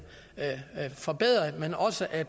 forbedret men også at